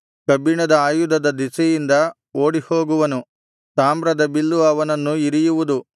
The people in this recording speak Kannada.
ಕಬ್ಬಿಣದ ಆಯುಧದ ದೆಸೆಯಿಂದ ಓಡಿಹೋಗುವನು ತಾಮ್ರದ ಬಿಲ್ಲು ಅವನನ್ನು ಇರಿಯುವುದು